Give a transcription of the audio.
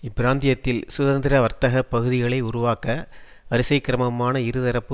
இப்பிராந்தியத்தில் சுதந்திர வர்த்தக பகுதிகளை உருவாக்க வரிசைக் கிரமமான இருதரப்பு